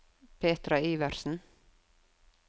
Petra Iversen